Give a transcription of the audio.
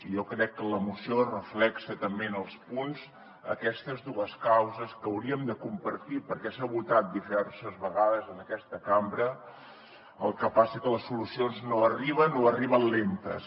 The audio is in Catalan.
jo crec que la moció reflecteix també en els punts aquestes dues causes que haurien de compartir perquè s’ha votat diverses vegades en aquesta cambra el que passa que les solucions no arriben o arriben lentes